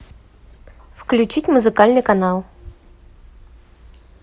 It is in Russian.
включить музыкальный канал